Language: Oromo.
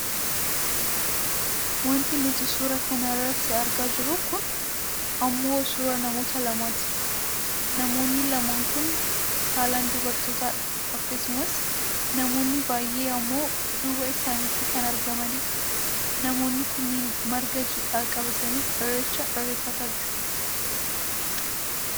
Wanti nuti suuraa kana irratti argaa jirru kun ammoo suuraa namoota lamaati. Namoonni lamaan kun saalan dubartoitadha akkasumas namoonni baayyee ammoo duuba isaaniitti kan argamanidha. Namoonni kunneen marga jiidhaa qabatanii Irreecha irreeffataa jiru.